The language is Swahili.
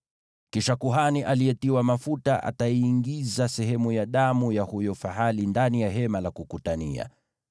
Kisha kuhani aliyetiwa mafuta ataiingiza sehemu ya damu ya huyo fahali ndani ya Hema la Kukutania.